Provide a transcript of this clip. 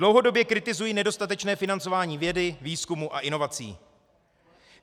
Dlouhodobě kritizuji nedostatečné financování vědy, výzkumu a inovací.